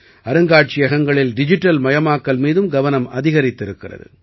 அருங்காட்சியகங்களில் digital மயமாக்கல் மீதும் கவனம் அதிகரித்திருக்கிறது